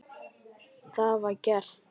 Það var gert.